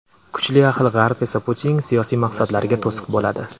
Kuchli ahil G‘arb esa Putinning siyosiy maqsadlariga to‘siq bo‘ladi.